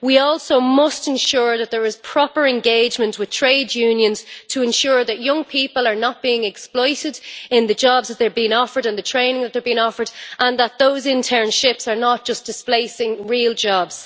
We must also ensure that there is proper engagement with trade unions to ensure that young people are not being exploited in the jobs and the training that they are being offered and that those internships are not just displacing real jobs.